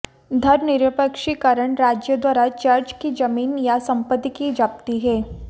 धर्मनिरपेक्षीकरण राज्य द्वारा चर्च की ज़मीन या सम्पत्ति की ज़ब्ती है